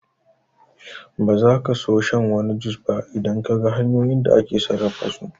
Ba zaka so shan wasu jus ba idan Kaga hanyoyin da ake sarrafa su